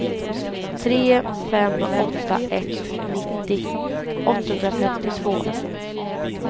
tre fem åtta ett nittio åttahundrafemtiotvå